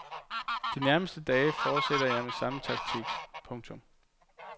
De nærmeste dage forsætter jeg med samme taktik. punktum